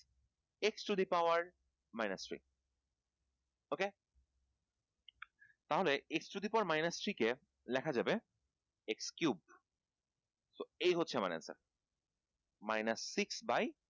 x to the power minus three ok তাহলে x to the power minus three কে লেখা যাবে x cube এই হচ্ছে আমার answer minus six by